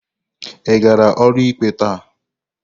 Ị gara ụlọikpe taa?